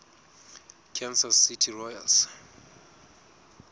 kansas city royals